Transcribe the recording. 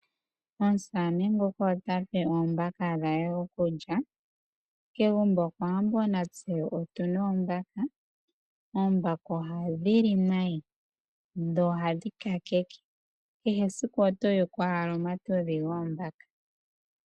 Omusamane nguka ota pe oombaka dhe okulya. Kegumbo lyokOwambo otu na oombaka. Oombaka ohadhi li nayi dho ohadhi kakeke. Kehe esiku oto yuku owala oonyata dhoombaka.